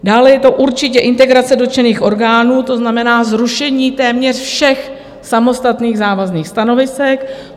Dále je to určitě integrace dotčených orgánů, to znamená zrušení téměř všech samostatných závazných stanovisek.